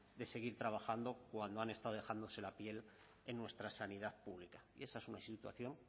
de seguir trabajando cuando han estado dejándose la piel en nuestra sanidad pública y esa es una situación